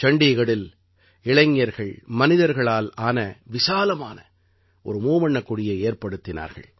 சண்டீகரில் இளைஞர்கள் மனிதர்களால் ஆன விசாலமான ஒரு மூவண்ணக் கொடியை ஏற்படுத்தினார்கள்